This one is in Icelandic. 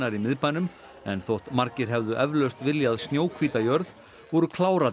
í miðbænum en þótt margir hefðu eflaust viljað jörð voru